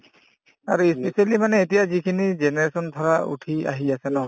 আৰু ই specially মানে এতিয়া যিখিনি generation ধৰা উঠি আহি আছে ন